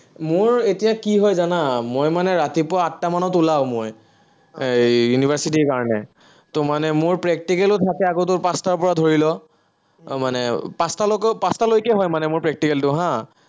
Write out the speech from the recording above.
মোৰ এতিয়া কি হয় জানা, মই মানে ৰাতিপুৱা আঠটা মানত ওলাওঁ মই, এই university ৰ কাৰণে। তো মানে মোৰ practical ও থাকে আকৌ পাচটাৰপৰা ধৰি ল। মানে পাচটালৈকে পাচটালৈকে হয় মানে মোৰ practical টো হা